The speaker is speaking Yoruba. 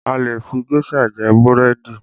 A lè fi géṣà jẹ búrẹ́dì